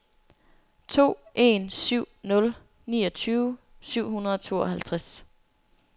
to en syv nul niogtyve syv hundrede og tooghalvtreds